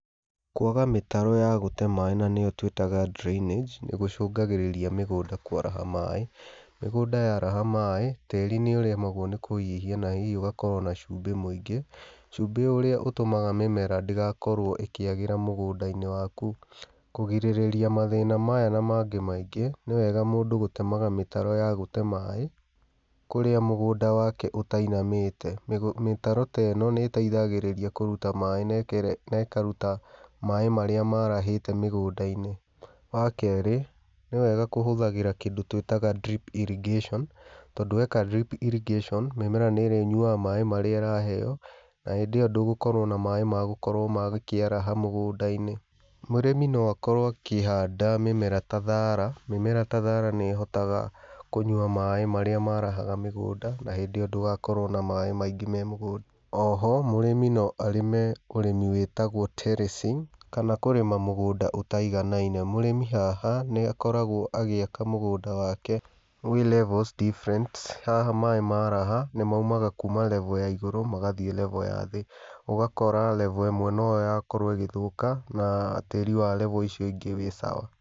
Kwaga mĩtaro ya gũte maĩ na nĩyo twĩtaga drainage, nĩgũcungagĩrĩria mĩgũnda kwaraha maĩ, mĩgũnda yaraha maĩ, tĩri nĩ ũremagwo nĩ kũhihia na hihi ũgakorwo na cumbĩ mũingĩ, cumbĩ ũrĩa ũtũmaga mĩmera ndĩgakorwo ĩkĩagĩra mĩgundainĩ waku. Kũgĩrĩrĩria mathĩna maya na mangĩ maingĩ, nĩ wega mũndũ gũtemaga mĩtaro ya gũte maĩ kũrĩa mũgũnda wake ũtainamĩte. Mĩtaro ta ĩno nĩ ĩteithagĩrĩria kũruta maĩ na ĩkaruta maĩ marĩa marahĩte mĩgunda-inĩ. Wakerĩ, nĩ wega kũhũthagĩra kĩndũ twĩtaga drip irrigation tondũ weka drip irrigation mĩmera nĩrĩnyuaga maĩ marĩa ĩraheo, na hĩndĩ ĩyo ndũgũkorwo na maĩ magũkorwo magĩkĩaraha mĩgũndainĩ. Mũrĩmi no akorwo akĩhanda mĩmera ta thara, mĩmera ta thara nĩhotaga kũnyua maĩ marĩa marahaga mĩgũnda na hĩndĩ ĩyo ndũgakorwo na maĩ maingĩ memũgũnda. Oho mũrĩmi no arĩme ũrimĩ wĩtagwo terracing, kana kũrĩma mũgũnda ũtaiganaine. Mũrĩmi haha nĩ akoragwo agĩaka mũgũnda wake wĩ levels different haha maĩ maraha nĩ maumaga kuuma level ya igũrũ magathiĩ level ya thĩ, ũgakora level ĩmwe noyo yakorwo ĩgĩthũka na tĩri wa level icio ingĩ wĩ sawa.